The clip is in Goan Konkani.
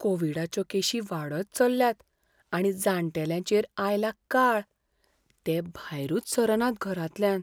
कोव्हिडाच्यो केशी वाडत चल्ल्यात आनी जाण्टेल्यांचेर आयला काळ. ते भायरूच सरनात घरांतल्यान.